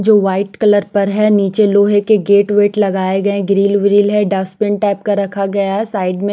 जो white colour पर है निचे लोहे के गेट वेट लगाये गये ग्रील व्रील है डस्टबिन टाइप का रखा गया है साइड में--